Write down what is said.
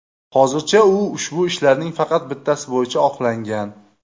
Hozircha u ushbu ishlarning faqat bittasi bo‘yicha oqlangan.